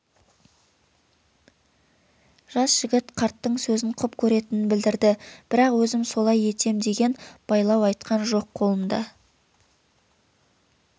жас жігіт қарттың сөзін құп көретінін білдірді бірақ өзім солай етем деген байлау айтқан жоқ қолында